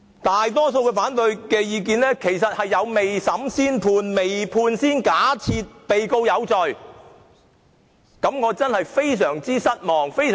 大多數的反對意見都有未審先判、未判先假定被告有罪的嫌疑。